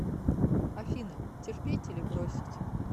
афина терпеть или бросить